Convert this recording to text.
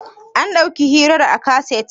an dàuki hirar a kaset?